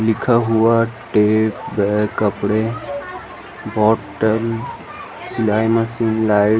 लिखा हुआ टेप हे कपड़े हे बॉटम सिलाई मशीन लाइट --